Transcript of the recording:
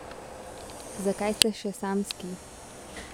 Zakaj ste še samski?